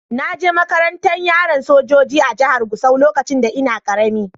Na je makarantan yaran sojoji a'jihar Gusau lokacin da n'na karemi.